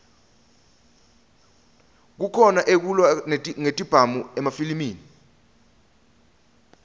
kukhona ekulwa ngetibhamu emafilimi